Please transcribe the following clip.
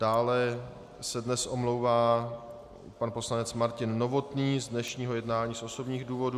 Dále se dnes omlouvá pan poslanec Martin Novotný z dnešního jednání z osobních důvodů.